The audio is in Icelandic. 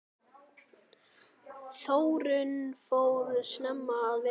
Þórunn fór snemma að vinna.